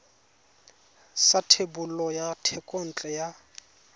sa thebolo ya thekontle ya